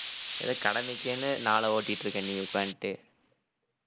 ஏதோ கடமைக்கேன்னு நாளை ஓட்டிட்டு இருக்க நீ உட்கார்ந்துட்டு